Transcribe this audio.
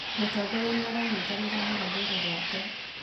Mũtongoria nĩaranyitanĩra na rũrĩrĩ rwake